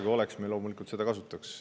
Kui oleks, siis me loomulikult seda kasutaks.